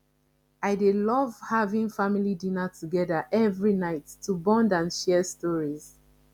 i dey love having family dinner together every night to bond and share stories